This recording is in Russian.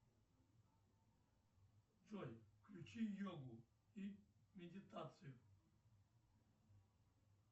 джой включи йогу и медитацию